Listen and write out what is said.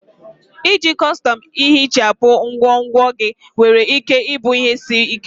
Iji kọstọm ihichapụ ngwongwo gị nwere ike ịbụ ihe isi ike.